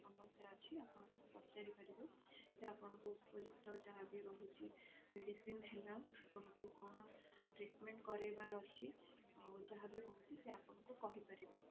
ସମସ୍ୟା ଅଛି ଆପଣ ତାଙ୍କୁ ପଚାରି ପାରିବେ ସେ ଆପଣଙ୍କ ଉପଯୁକ୍ତ ଯାହା ବି ରହୁଛି medicine ହେଲା ତମକୁ କଣ treatment କରେଇବାର ଅଛି ଆଉ ଯାହା ବି ରହୁଛି ସେ ଆପଣଙ୍କୁ କହି ପାରିବେ